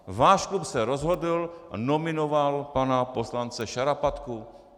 Váš klub se rozhodl a nominoval pana poslance Šarapatku.